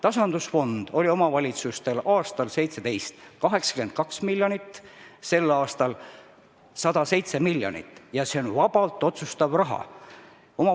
Tasandusfond oli 2017. aastal 82 miljonit eurot, tänavu on 107 miljonit ja see on vabalt otsustatav raha.